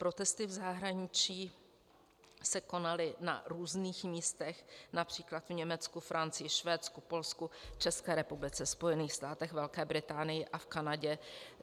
Protesty v zahraničí se konaly na různých místech, například v Německu, Francii, Švédsku, Polsku, České republice, Spojených státech, Velké Británii a v Kanadě.